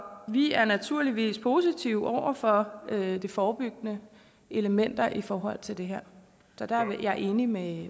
vi er naturligvis positive over for de forebyggende elementer i forhold til det her så der er jeg enig med